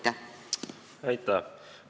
Aitäh!